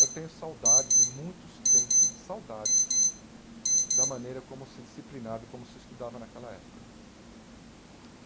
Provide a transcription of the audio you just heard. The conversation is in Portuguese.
Eu tenho saudades e muitos têm saudades da maneira como se disciplinava e como se estudava naquela época.